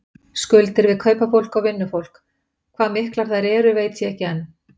Skuldir við kaupafólk og vinnufólk, hvað miklar þær eru veit ég ekki enn.